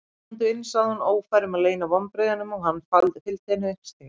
Komdu inn, sagði hún- ófær um að leyna vonbrigðunum- og hann fylgdi henni upp stigann.